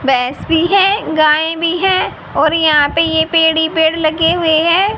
भैंस भी है गाये भी हैं और यहां पे ये पेड़ ही पेड़ लगे हुए हैं।